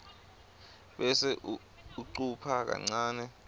bese ucupha kancane